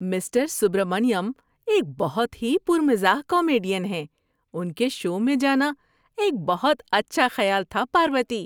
Mister Subramaniam ایک بہت ہی پر مزاح کامیڈین ہیں۔ ان کے شو میں جانا ایک بہت اچھا خیال تھا، پاروتی۔